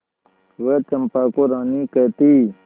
वह चंपा को रानी कहती